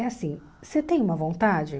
É assim, você tem uma vontade?